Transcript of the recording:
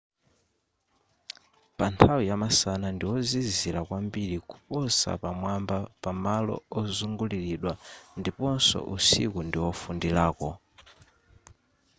panthawi yamasana ndiwozizira kwambiri kuposa pamwamba pamalo ozunguliridwa ndiponso usiku ndiwofundirako